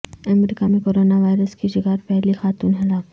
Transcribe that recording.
امریکہ میں corona virus کی شکار پہلی خاتون ہلاک